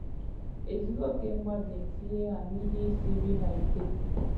Ezughị okè mmadụ na-etinye ha n'ihe i siri ha ike.